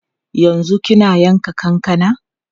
Yanzu kina yanka kankana?